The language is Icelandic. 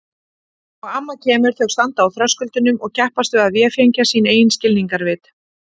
Og amma kemur, þau standa á þröskuldinum og keppast við að véfengja sín eigin skilningarvit.